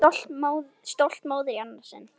Stolt móðir í annað sinn.